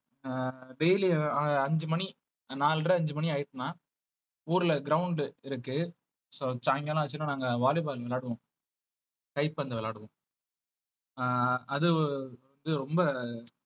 அஹ் daily அ~ அஞ்சு மணி நாலரை அஞ்சு மணி ஆயிடுச்சுன்னா ஊர்ல ground இருக்கு so சாயங்காலம் ஆச்சுன்னா நாங்க volley ball விளையாடுவோம் கைப்பந்து விளையாடுவோம் அஹ் அது வந்து ரொம்ப